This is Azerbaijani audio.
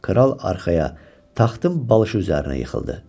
Kral arxaya, taxtın balışı üzərinə yıxıldı.